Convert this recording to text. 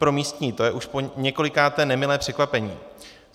Pro místní je to už poněkolikáté nemilé překvapení.